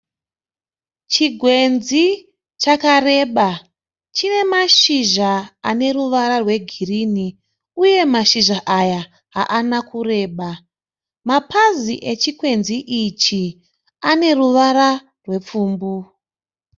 Chigwenzi chakareba chine mashizha ane ruvara rwegirini uye mashizha aya haana kureba mapazi echikwenzi ichi ane ruvara rwepfumbu.